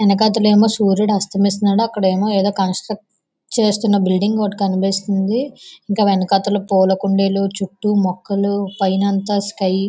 ఎనకాతలేము సూర్యుడు అస్తమిస్తున్నాడు అక్కడ కన్సల్ట్ చేస్తున్న బ్లీడింగ్ ఓట్ కనిపిస్తుంది. ఇంకా వెనకాతల పూల కుండీలు చుట్టూ మొక్కలు పైనంతా స్కై --